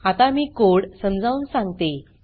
आता मी कोड समजावून सांगते